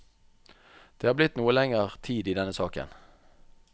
Det har blitt noe lenger tid i denne saken.